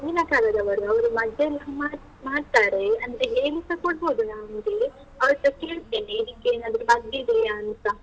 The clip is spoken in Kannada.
ಹಿಂದಿನ ಕಾಲದವರು, ಅವರು ಮದ್ದೆಲ್ಲ ಮಾಡ್ತಾರೆ, ಅಂದ್ರೆ ಹೇಳಿಸ ಕೊಡ್ಬೋದು ನಾನ್ ಹೋದ್ರೆ ಅವರತ್ರ ಕೇಳ್ತೇನೆ ಇದಕ್ಕೇನಾದ್ರು ಮದ್ದಿದೆಯಾ ಅಂತ.